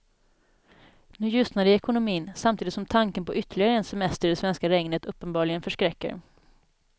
Nu ljusnar det i ekonomin, samtidigt som tanken på ytterligare en semester i det svenska regnet uppenbarligen förskräcker.